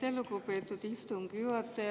Aitäh, lugupeetud istungi juhataja!